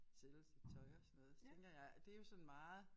Sælge sit tøj og sådan noget så tænker jeg at det jo sådan meget